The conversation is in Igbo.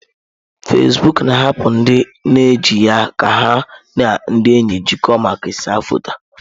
Fezbuuku na-ahapụ ndị na eji ya ka ha na ndị enyi jikọọ ma kesaa foto.